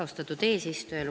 Austatud eesistuja!